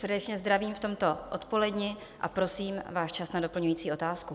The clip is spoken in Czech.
Srdečně zdravím v tomto odpoledni a prosím, váš čas na doplňující otázku.